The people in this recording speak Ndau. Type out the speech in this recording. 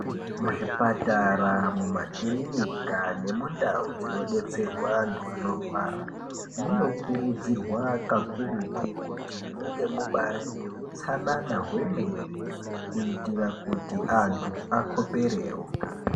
Muzvipatara mumakirinika nemundau dzinodetserwa antu anorwara munokurudzirwa kakurutu kuti munge mubari muneutsana hwemene kuitira kuti antu akoperewo.